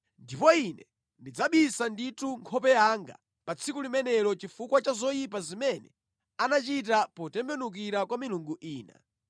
Ndipo Ine ndidzabisa ndithu nkhope yanga pa tsiku limenelo chifukwa cha zoyipa zimene anachita potembenukira kwa milungu ina.